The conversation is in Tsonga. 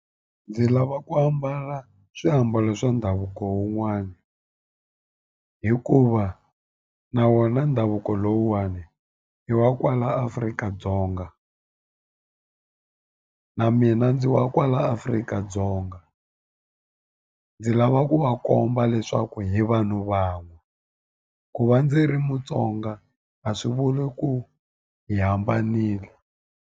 Ndzi lava ku ambala swiambalo swa ndhavuko wun'wana hikuva na wona ndhavuko lowuwani i wa kwala Afrika-Dzonga na mina ndzi wa kwala Afrika-Dzonga ndzi lava ku va komba leswaku hi vanhu van'we ku va ndzi ri Mutsonga a swi vuli ku hi hambanile.